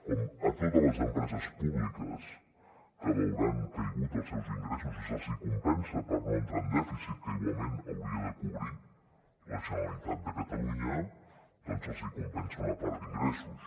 com a totes les empreses públiques que veuran caiguts els seus ingressos i se’ls compensa per no entrar en dèficit que igualment hauria de cobrir la generalitat de catalunya doncs els compensa una part d’ingressos